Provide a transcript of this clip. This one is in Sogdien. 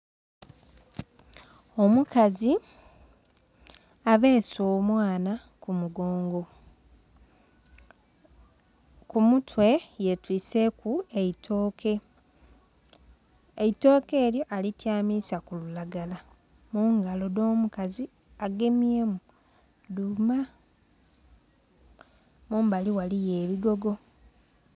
Omukazi abeese omwana ku kumongo. Ku mutwe yetwiiseku eitooke, eitooke elyo alityamiza ku lulagala. Mungalo edh'omukazi agemyemu dhuuma. Mumbali ghaliyo ebigogo.